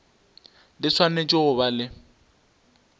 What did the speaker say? di swanetše go ba le